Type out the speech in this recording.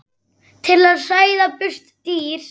til að hræða burt dýr.